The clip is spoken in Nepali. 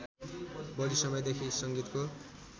बढि समयदेखि सङ्गीतको